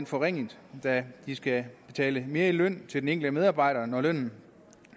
forringet da de skal betale mere i løn til den enkelte medarbejder når lønnen